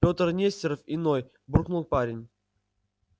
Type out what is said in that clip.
петр нестеров иной буркнул парень